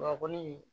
Baba kɔni